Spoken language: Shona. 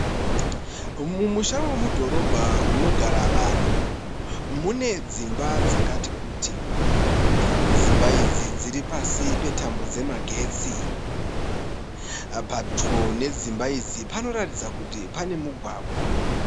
Mumusha wemudhorobha unogara vanhu, mune dzimba dzakati kuti. Dzimba idzi dziri pasi petambo dzemagetsi. Padyo nedzimba idzi panoratidza kuti pane mugwagwa.